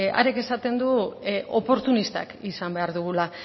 harek esaten du oportunistak izan behar dugula